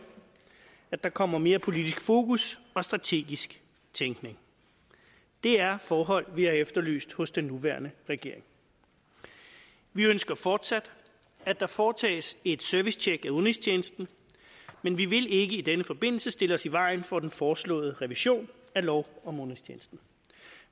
at der kommer mere politisk fokus og strategisk tænkning det er forhold vi har efterlyst hos den nuværende regering vi ønsker fortsat at der foretages et servicetjek af udenrigstjenesten men vi vil ikke i denne forbindelse stille os i vejen for den foreslåede revision af lov om udenrigstjenesten